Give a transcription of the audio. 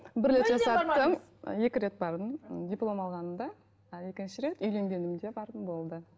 екі рет бардым диплом алғанымда ал екінші рет үйленгенімде бардым болды